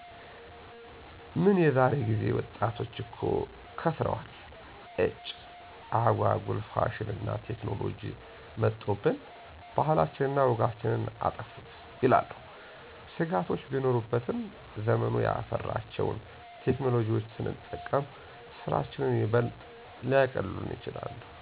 "ምን የዛሬ ጊዜ ወጣቶች እኮ ከሰረዋል። ኢጭ! አጓጉል ፋሽንና ቴክኖሎጅ መጦብን፤ ባህላችንን እና ወጋችንን አጠፉት" ይላሉ። ስጋቶች ቢኖሩበትም ዘመኑ ያፈራቸውን ቴክኖሎጅዎች ስንጠቀም ስራችንን ይበልጥ ሊያቀሉልን ይችላሉ።